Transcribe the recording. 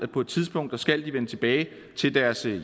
på et tidspunkt skal vende tilbage til deres